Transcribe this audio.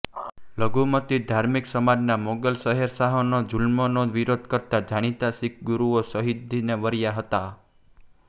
લઘુમતી ધાર્મિક સમાજના મોગલ શહેનશાહોના જુલમનો વિરોધ કરતા જાણીતા શીખ ગુરૂઓ શહીદીને વર્યાં હતા